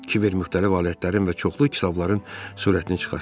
Kibver müxtəlif alətlərin və çoxlu kitabların surətini çıxartdı.